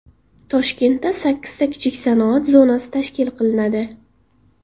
Toshkentda sakkizta kichik sanoat zonasi tashkil qilinadi.